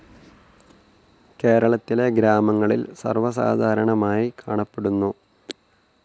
കേരളത്തിലെ ഗ്രാമങ്ങളിൽ സർവസാധാരണമായി കാണപ്പെടുന്നു.